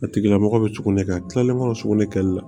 A tigila mɔgɔ bɛ sugunɛ kɛ a tilalen kɔrɔ sugunɛ kɛli la